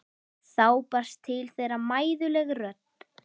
Þá barst til þeirra mæðuleg rödd